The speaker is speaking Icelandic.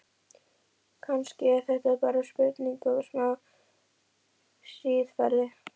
Kannski er þetta bara spurning um smá siðferði?